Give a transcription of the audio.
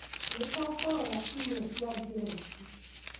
nĩtũkũrora imwe cia njĩra ici